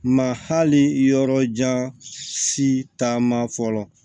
Mahali yɔrɔ jan si taama fɔlɔ